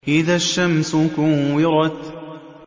إِذَا الشَّمْسُ كُوِّرَتْ